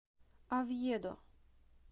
овьедо